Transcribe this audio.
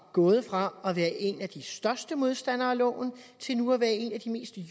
gået fra at være en af de største modstandere af loven til nu at være en af de mest